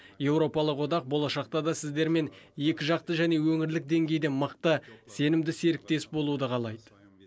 еуропалық одақ болашақта да сіздермен екіжақты және өңірлік деңгейде мықты сенімді серіктес болуды қалайды